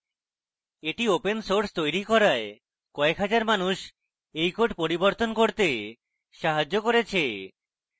এটি open source তৈরী করায় কয়েক হাজার মানুষ এই code পরিবর্তন করতে সাহায্য করেছে